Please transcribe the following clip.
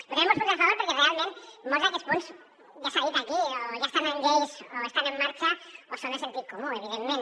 votarem molts punts a favor perquè realment molts d’aquests punts ja s’ha dit aquí o ja estan en lleis o estan en marxa o són de sentit comú evidentment